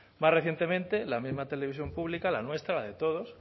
más recientemente la misma televisión pública la nuestra la de todos